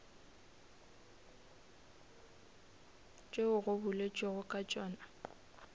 tšeo go boletšwego ka tšona